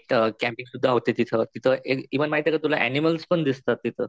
Night कैंपिंगसुद्धा होते तिथं.तिथं इव्हन माहिते का तुला अनिमल्स पण दिसतात तिथं.